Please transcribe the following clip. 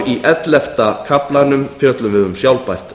í ellefta kaflanum fjöllum við um sjálfbært